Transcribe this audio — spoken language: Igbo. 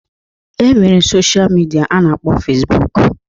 E nwere sosha midia a na-akpọ Fesbụụk